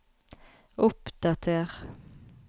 oppdater